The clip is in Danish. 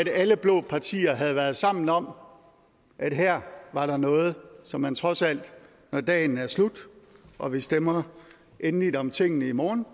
alle blå partier havde været sammen om at her var der noget som man trods alt når dagen er slut og vi stemmer endeligt om tingene i morgen